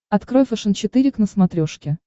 открой фэшен четыре к на смотрешке